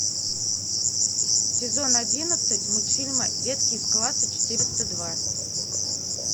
сезон одиннадцать мультфильма детки из класса четыреста два